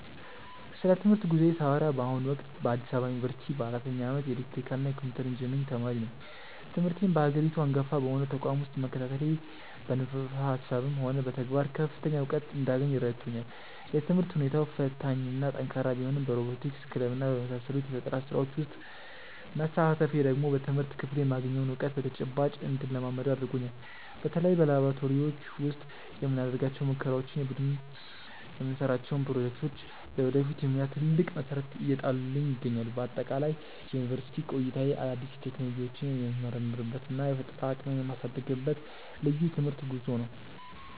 ስለ ትምህርት ጉዞዬ ሳወራ በአሁኑ ወቅት በአዲስ አበባ ዩኒቨርሲቲ በአራተኛ ዓመት የኤሌክትሪካልና ኮምፒውተር ኢንጂነሪንግ ተማሪ ነኝ። ትምህርቴን በሀገሪቱ አንጋፋ በሆነው ተቋም ውስጥ መከታተሌ በንድፈ ሃሳብም ሆነ በተግባር ከፍተኛ እውቀት እንዳገኝ ረድቶኛል። የትምህርት ሁኔታው ፈታኝና ጠንካራ ቢሆንም በሮቦቲክስ ክለብና በመሳሰሉት የፈጠራ ስራዎች ውስጥ መሳተፌ ደግሞ በትምህርት ክፍሉ የማገኘውን እውቀት በተጨባጭ እንድለማመደው አድርጎኛል። በተለይ በላብራቶሪዎች ውስጥ የምናደርጋቸው ሙከራዎችና የቡድን የምንሰራቸው ፕሮጀክቶች ለወደፊት የሙያ ትልቅ መሰረት እየጣሉልኝ ይገኛሉ። በአጠቃላይ የዩኒቨርሲቲ ቆይታዬ አዳዲስ ቴክኖሎጂዎችን የምመረምርበትና የፈጠራ አቅሜን የማሳድግበት ልዩ የትምህርት ጉዞ ነው።